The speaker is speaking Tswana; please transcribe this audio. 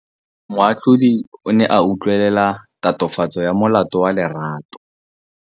Moatlhodi o ne a utlwelela tatofatsô ya molato wa Lerato.